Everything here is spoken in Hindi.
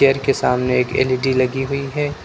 चेयर के सामने एक एल_इ_डी लगी हुई है।